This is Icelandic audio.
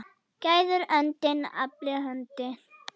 Gæðir öndin afli hönd.